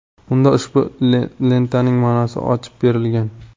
Unda ushbu lentaning ma’nosi ochib berilgan.